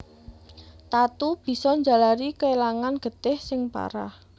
Tatu bisa njalari kélangan getih sing parah